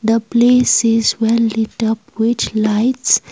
the place is well light up which lights.